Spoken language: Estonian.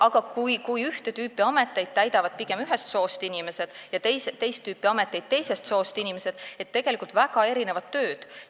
Aga ühte tüüpi ameteid täidavad pigem ühest soost inimesed ja teist tüüpi ameteid teisest soost inimesed, tegelikult on need väga erinevad tööd.